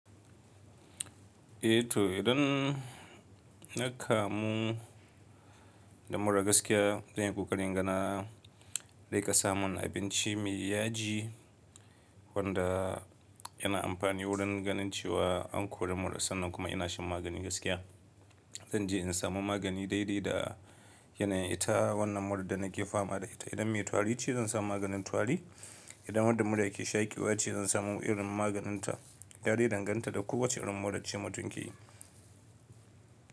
Eh to idan na kamu da mura gaskiya, zan yi ƙoƙarin gana na rika samun abinci mai yaji wanda yana amfani wurin ganin cewa an kori mura sannan kuma ina shan magani gaskiya. Zanje in samu magani daidai da yanayin ita wannan murar da nake fama da ita. Idan mai tari ce zan sa maganin tari, idan murar mura yake shaƙi wace zan samu irin maganinta, dare danganta da ko wacce irin mura ce mutum ke yi.